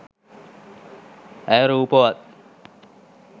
ඇය රූපවත්.